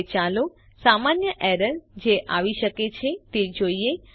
હવે ચાલો સામાન્ય એરર જે આવી શકે છે તે જોઈએ